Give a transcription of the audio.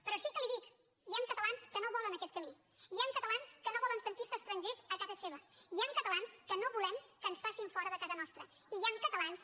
però sí que li ho dic hi han catalans que no volen aquest camí hi han catalans que no volen sentir se estrangers a casa seva hi han catalans que no volem que ens facin fora de casa nostra i hi han catalans